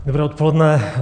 Dobré odpoledne.